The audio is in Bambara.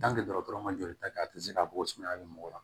dɔgɔtɔrɔ ma joli ta kɛ a tɛ se ka bɔ sumaya bɛ mɔgɔ la